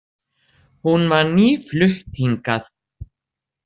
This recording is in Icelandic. Hún var nýflutt hingað.